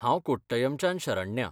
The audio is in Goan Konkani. हांव कोट्टयमच्यान शरण्या.